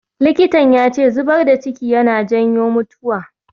Likitan ya ce zubar da ciki yana janyo mutuwa